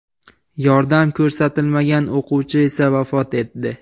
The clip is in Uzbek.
Yordam ko‘rsatilmagan o‘quvchi esa vafot etdi.